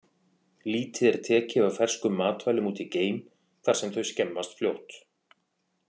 Lítið er tekið af ferskum matvælum út í geim, þar sem þau skemmast fljótt.